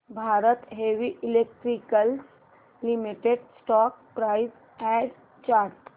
Bharat heavy electricals limited stock price and chart